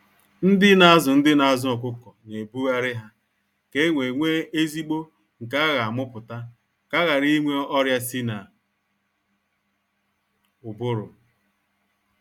Ndị na azụ Ndị na azụ ọkụkọ na ebughari ha ka enwe nwe ezigbo nke a gha amụputa, ka aghara ịnwe ọrịa sị na ụbụrụ.